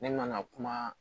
Ne ma na kuma